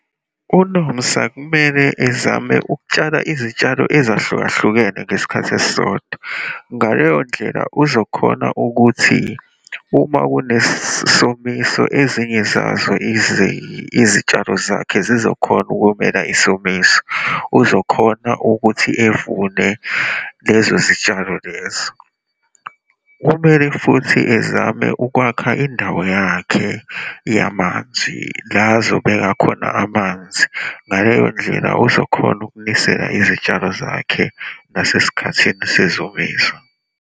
UNomsa kumele ezame ukutshala izitshalo ezahlukahlukene ngesikhathi esisodwa. Ngaleyo ndlela uzokhona ukuthi uma kunesomiso, ezinye zazo izitshalo zakhe zizokhona ukumela isomiso, uzokhona ukuthi evune lezo zitshalo lezo. Kumele futhi ezame ukwakha indawo yakhe yamanzi, la azobeka khona amanzi. Ngaleyo ndlela, uzokhona ukunisela izitshalo zakhe nasesikhathini sezomiso.